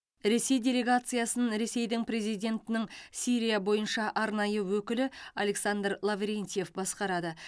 ресей делегациясын ресейдің президентінің сирия бойынша арнайы өкілі александр лаврентьев басқарады